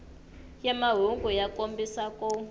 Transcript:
ya mahungu ya kombisa ku